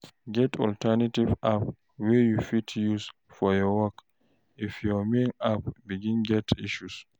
Get alternative apps wey you fit use for your work if your main app begin get issue